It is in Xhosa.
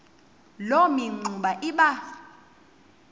loo mingxuma iba